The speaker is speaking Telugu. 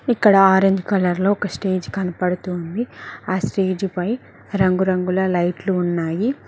ఇక్కడ ఆరంజ్ కలర్ లో ఒక స్టేజ్ కనపడుతుంది ఆ స్టేజ్ పై రంగురంగుల లైట్లు ఉన్నాయి.